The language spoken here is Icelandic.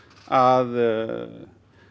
að